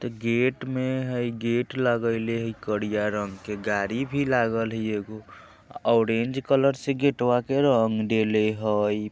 ते गेट मे हय गेट लगेइले हय करिया रंग के गाड़ी भी लागल हय एगो ऑरेंज कलर से गेटवा के रंग देले हय।